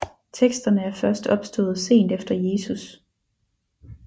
Teksterne er først opstået sent efter Jesus